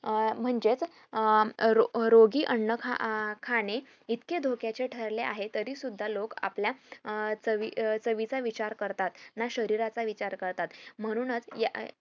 अं म्हणजेच अं रोगी अन्न खाणे अं इतके धोक्याचे ठरले आहे तरी सुद्धा लोक आपल्या अं चवीचा विचार करतात ना शरीराचा विचार करता म्हणूनच